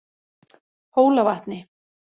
Hólavatni